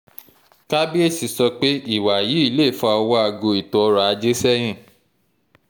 kábíésì sọ pé ìwà yìí lè fa ọwọ́ aago ètò ọrọ̀-ajé sẹ́yìn